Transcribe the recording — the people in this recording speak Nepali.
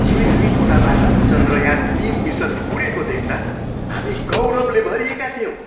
श्रीहरिकोटाबाट चन्द्रयान तिन मिसन उडेको देख्दा हामी गौरवले भरिएका थियौँ।